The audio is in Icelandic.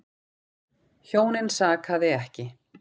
Hjónin sakaði ekki.